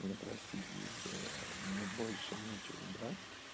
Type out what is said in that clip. ну простите если мне больше нечего брать